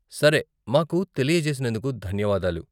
సరే, మాకు తెలియజేసినందుకు ధన్యవాదాలు.